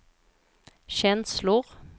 känslor